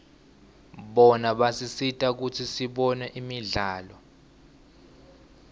bona basisita kutsi sibone imidlalo